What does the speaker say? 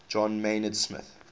john maynard smith